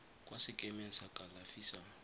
kwa sekemeng sa kalafi sa